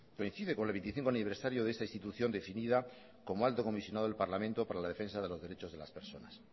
coincide con el veinticinco aniversario de esta institución definida como alto comisionado del parlamento para la defensa de los derechos de las personas